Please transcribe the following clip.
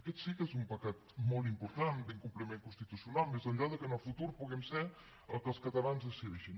aquest sí que és un pecat molt important l’incompliment constitucional més enllà que en el futur puguem ser el que els catalans decideixin